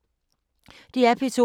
DR P2